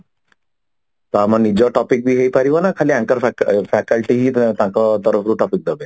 ତ ଆମ ନିଜ topic ହେଇପାରିବ ନା ତାଙ୍କର Facial faculty ହିଁ ତାଙ୍କ ତରଫରୁ topic ଦେବେ